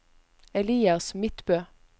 Elias Midtbø